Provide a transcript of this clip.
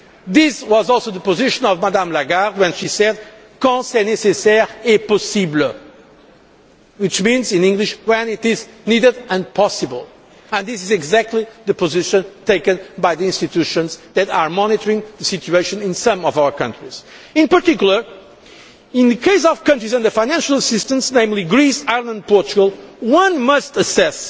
This was also the position of Madam Lagarde when she said conseil nécessaire et possible' which means in English advice when it is needed and possible', and this is exactly the position taken by the institutions that are monitoring the situation in some of our countries. In particular, in the case of countries under financial assistance, namely Greece, Ireland and Portugal, one must assess